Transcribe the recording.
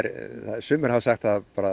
sumir hafa sagt